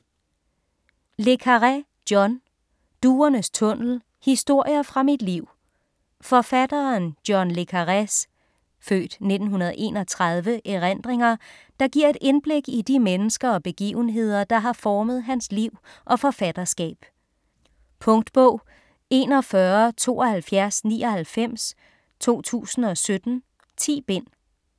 Le Carré, John: Duernes tunnel: historier fra mit liv Forfatteren John le Carrés (f. 1931) erindringer, der giver et indblik i de mennesker og begivenheder, der har formet hans liv og forfatterskab. Punktbog 417299 2017. 10 bind.